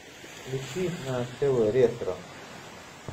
включи на тв ретро